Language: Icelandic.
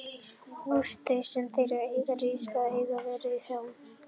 Hús þau, sem þar eiga að rísa, eiga að verða háborg íslenskrar menningar!